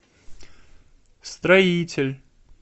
строитель